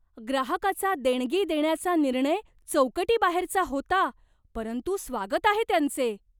ग्राहकाचा देणगी देण्याचा निर्णय चौकटीबाहेरचा होता, परंतु स्वागत आहे त्यांचे.